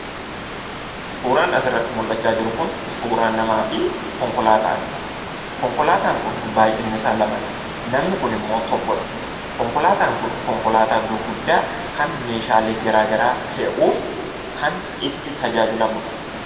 Suuraan asirratti mul'achaa jiru kun suuraa namaafi konkolaataadha. Konkolaataan kun baay'innisaa lamadha namni kunimmoo tokkodha. konkolaataan kun konkolaataa gurguddaa kan meeshaalee garaa garaa fe'uuf kan itti tajaajilamudha.